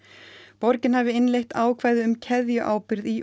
borgin hafi innleitt ákvæði um keðjuábyrgð í